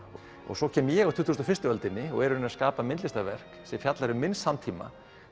svo kem ég á tuttugustu og fyrstu öldinni og er í rauninni að skapa myndlistarverk sem fjallar um minn samtíma